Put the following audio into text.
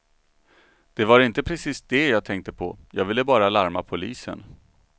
Det var inte precis det jag tänkte på, jag ville bara larma polisen.